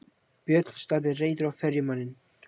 Björn starði reiður á ferjumanninn.